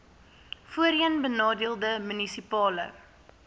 voorheen benadeelde munisipale